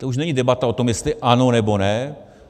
To už není debata o tom, jestli ano, nebo ne.